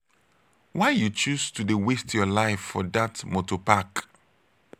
why you choose to dey waste your life for dat moto park?